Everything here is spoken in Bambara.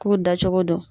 K'u dacogo dɔn